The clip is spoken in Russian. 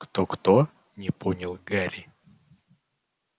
кто-кто не понял гарри